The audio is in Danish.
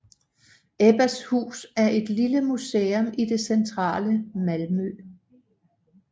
Ebbas hus er et lille museum i det centrale Malmø